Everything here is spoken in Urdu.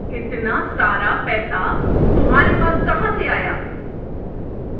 اتنا سارا پیسہ تمہارے پاس کہاں سے آیا؟